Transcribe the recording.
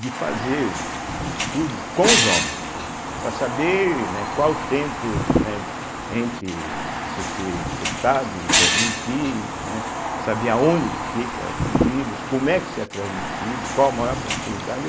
de fazer um estudo com os homens, para saber, né, qual o tempo, né, entre você ser infectado e transmitido, né, saber aonde que fica esse vírus, como é que se é transmitido, qual a maior probabilidade.